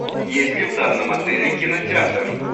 есть ли в данном отеле кинотеатр